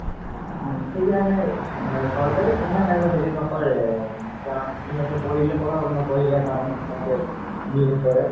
উম সেইকাৰণে চৰকাৰে হেৰি নকৰে কাৰণ ইহতে পঢ়িলে পঢ়ৰক নপঢ়িলে নাই নিচিনা কে behave কৰে